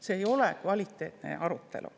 See ei ole kvaliteetne arutelu.